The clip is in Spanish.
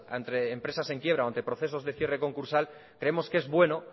ante empresas en quiebra o ante procesos de cierre concursal creemos que es bueno